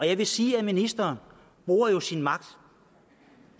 jeg vil sige at ministeren bruger sin magt